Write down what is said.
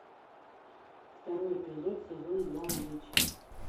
второй эпизод сезон два блич